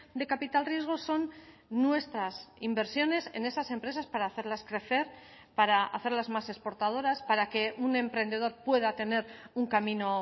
de capital riesgo son nuestras inversiones en esas empresas para hacerlas crecer para hacerlas más exportadoras para que un emprendedor pueda tener un camino